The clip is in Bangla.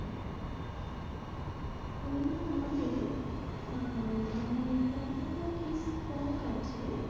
সেই mall এ আহ মানে কতটা কি stock আছে